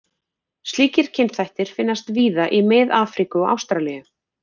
Slíkir kynþættir finnast víða í Mið-Afríku og Ástralíu.